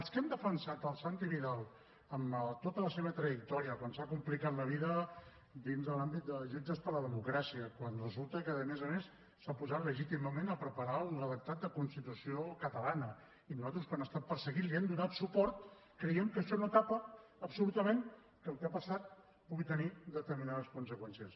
els que hem defensat el santi vidal en tota la seva trajectòria quan s’ha complicat la vida dins de l’àmbit de jutges per a la democràcia quan resulta que a més a més s’ha posat legítimament a preparar un redactat de constitució catalana i nosaltres quan ha estat perseguit li hem donat suport creiem que això no tapa absolutament que el que ha passat pugui tenir determinades conseqüències